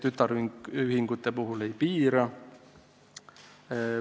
Tütarühingute puhul ei piira.